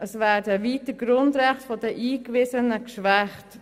Es werden weiter die Grundrechte von Eingewiesenen geschwächt.